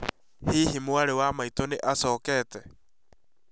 Hihi mwarĩ wa maitũ nĩ acokete?